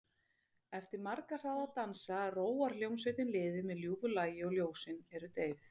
Eftir marga hraða dansa róar hljómsveitin liðið með ljúfu lagi og ljósin eru deyfð.